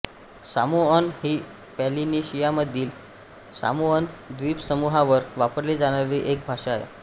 Samoan ही पॉलिनेशियामधील Samoan द्वीपसमूहावर वापरली जाणारी एक भाषा आहे